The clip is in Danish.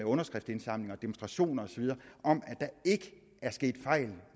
underskriftsindsamlinger demonstrationer osv om at der ikke er sket fejl